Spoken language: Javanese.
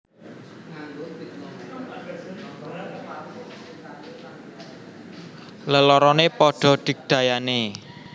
Leloroné padha digdayané